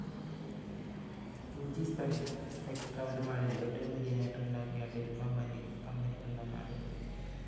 two G spectrum ഇടപാടില്‍ ഏറ്റവും വലിയ നേട്ടമുണ്ടാക്കിയ ടെലികോം കമ്പനികളിലൊന്നാണിത്‌